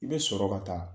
I bɛ sɔrɔ ka taa